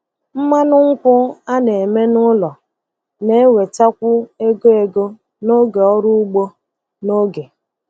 Mmanụ nkwụ a na-eme n'ụlọ na-ewetakwu ego ego n'oge ọrụ ugbo n'oge.